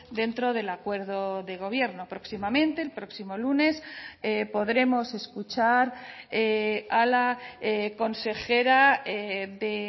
dentro del acuerdo de gobierno próximamente el próximo lunes podremos escuchar a la consejera de